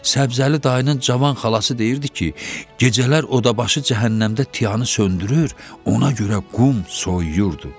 Səbzəli dayının cavan xalası deyirdi ki, gecələr odabaşı cəhənnəmdə tiyanı söndürür, ona görə qum soyuyurdu.